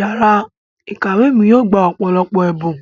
Yàrá ìkàwé mi yóò gbà ọ̀pọ̀lọpọ̀ ẹ̀bùn